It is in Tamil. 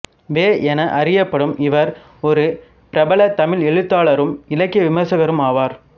வெ என அறியப்படும் இவர் ஒரு பிரபல தமிழ் எழுத்தாளரும் இலக்கிய விமர்சகருமாவார்